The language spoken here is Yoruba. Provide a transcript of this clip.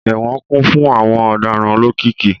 Ẹwọn kun fun awọn ọdaràn olokiki